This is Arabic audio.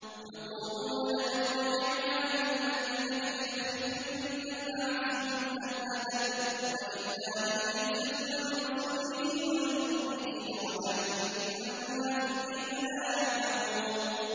يَقُولُونَ لَئِن رَّجَعْنَا إِلَى الْمَدِينَةِ لَيُخْرِجَنَّ الْأَعَزُّ مِنْهَا الْأَذَلَّ ۚ وَلِلَّهِ الْعِزَّةُ وَلِرَسُولِهِ وَلِلْمُؤْمِنِينَ وَلَٰكِنَّ الْمُنَافِقِينَ لَا يَعْلَمُونَ